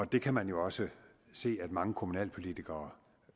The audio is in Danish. det kan man også se at mange kommunalpolitikere